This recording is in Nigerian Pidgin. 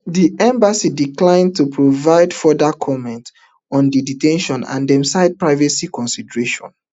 di embassy decline to provide further comments on di de ten tion and dem cite privacy considerations